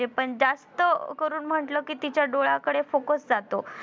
पण जास्त करून म्हटलं कि तिच्या डोळ्याकडं focus जातो.